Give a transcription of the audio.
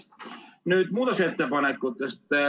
Nüüd muudatusettepanekutest.